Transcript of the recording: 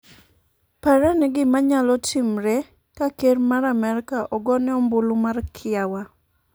parane gimanyalo timre ka ker ma Amerka ogone ombulu mar kiawa